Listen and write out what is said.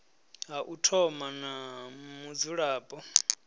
ha u thoma na mudzulapo